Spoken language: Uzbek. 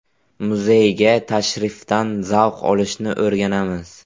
Muzeyga tashrifdan zavq olishni o‘rganamiz.